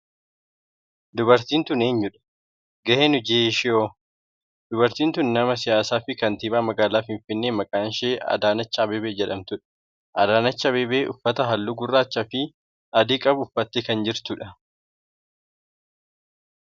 dubartiin tun eenyudha? gaheen hoji ishee hoo? dubartiin tun nama siyaasaa fi kantiibaa magaalaa finfinnee maqaan ishee Adaanech Abeebee jedhamtudha. Adaanech Abeebee uffata halluu gurraachaa fi adii qabu uffatte kan jirtudha.